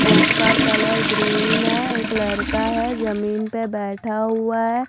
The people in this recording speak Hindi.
बुक का कलर ग्रीन है एक लड़का है जमीन पर बैठा हुआ है।